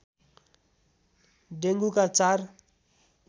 dengue का चार